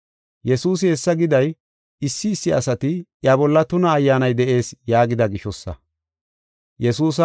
Yesuusi hessa giday, issi issi asati, “Iya bolla tuna ayyaanay de7ees” yaagida gishosa.